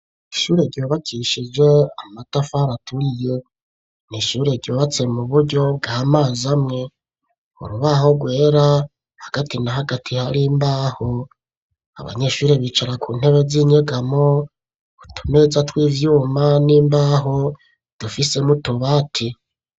Ishure ryubakishije amatafari aturiye n'ishure ryubatse mu buryo bw'amazi amwe urubaho rwera hagati na hagati hari imbaho abanyeshure bicara ku ntebe z'inyegamo utu meza tw'ivyuma n'imbaho dufise n'utubati